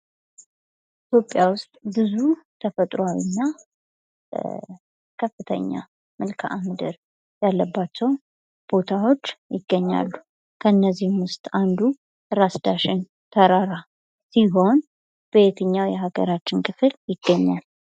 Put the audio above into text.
ኢትዮጵያ ዉስጥ ብዙ ተፈጥሯዊ እና ከፍተኛ መልከአ ምድር ያለባቸው ቦታዎች ይገኛሉ። ከነዚህም ዉስጥ አንዱ ራስ ዳሸን ተራራ ሲሆን በየትኛው የሃገራችን ክፍል ይገኛል?